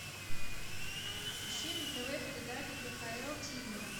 ищи на тв передачу кхл ти ви